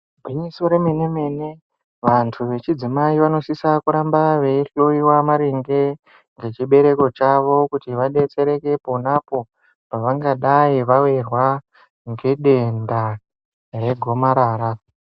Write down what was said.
Gwinyiso remene mene vantu vechidzimai vanosisa kuramba vechihloiwa maringe nechibereko chawo kuti vadetsereke ponapo pavangadai vawirwa ngedenda regomarara.